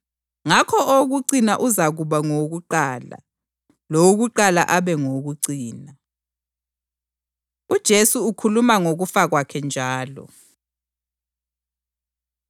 Ngakho owokucina uzakuba ngowokuqala, lowokuqala abe ngowokucina.” UJesu Ukhuluma Ngokufa Kwakhe Njalo